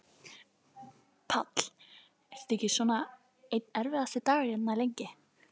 Páll: Er þetta ekki svona einn erfiðasti dagurinn hérna, lengi?